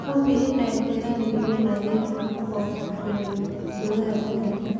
Hubi in ay jiraan biyo nadiif ah oo ku filan gudaha digaagga.